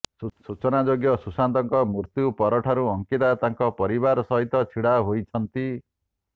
ସୂଚନାଯୋଗ୍ୟ ସୁଶାନ୍ତଙ୍କ ମୃତ୍ୟୁ ପରଠାରୁ ଅଙ୍କିତା ତାଙ୍କ ପରିବାର ସହିତ ଛିଡ଼ା ହୋଇଛନ୍ତି